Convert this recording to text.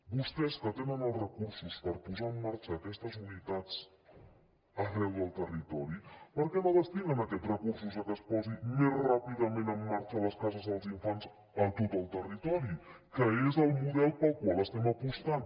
vostès que tenen els recursos per posar en marxa aquestes unitats arreu del territori per què no destinen aquests recursos a que es posin més ràpidament en marxa les cases dels infants a tot el territori que és el model per al qual estem apostant